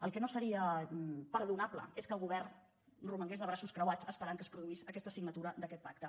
el que no seria perdonable és que el govern romangués de braços plegats esperant que es produís aquesta signatura d’aquest pacte